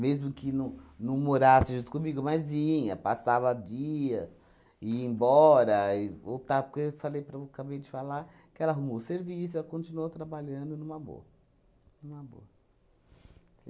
que não não morasse junto comigo, mas vinha, passava dia, ia embora e volta, porque eu falei para o acabei de falar que ela arrumou o serviço, ela continuou trabalhando numa boa. Numa boa.